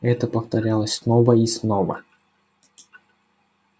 это повторялось снова и снова